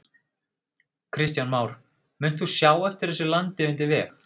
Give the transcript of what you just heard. Kristján Már: Munt þú sjá eftir þessu landi undir veg?